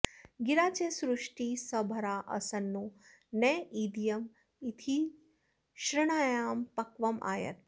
गि॒रा च॑ श्रु॒ष्टिः सभ॑रा॒ अस॑न्नो॒ नेदी॑य इथ्सृ॒ण्या॑ प॒क्वमाय॑त्